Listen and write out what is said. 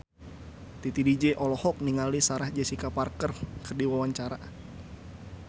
Titi DJ olohok ningali Sarah Jessica Parker keur diwawancara